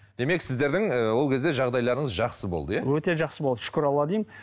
демек сіздердің ы ол кезде жағдайларыңыз жақсы болды иә өте жақсы болды шүкір аллаға деймін